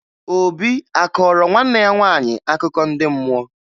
Obi a kọọrọ nwanne ya nwaanyị akụkọ ndị mmụọ?